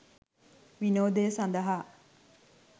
විනෝදය සඳහා